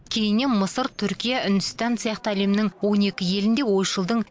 кейіннен мысыр түркия үндістан сияқты әлемнің он екі елінде ойшылдың